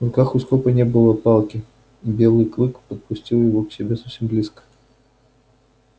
в руках у скопа не было палки и белый клык подпустил его к себе совсем близко